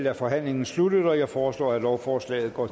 er forhandlingen sluttet jeg foreslår at lovforslaget går